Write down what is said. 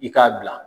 I k'a bila